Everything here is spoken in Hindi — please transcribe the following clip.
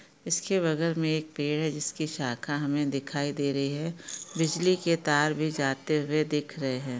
इसके बगल में एक पेड़ है जिसकी शाखा हमे दिखाई दे रही है बिजली के तार भी जाते हुए दिख रहे है।